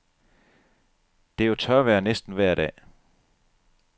Det er jo tørvejr næsten vejr dag.